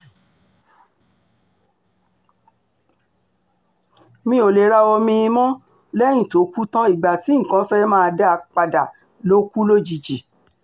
mi ò lè ra omi-ín mọ́ lẹ́yìn tó kú tán ìgbà tí nǹkan fẹ́ẹ́ máa dáa padà ló kù lójijì